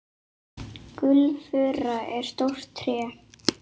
Gulfura er stórt tré.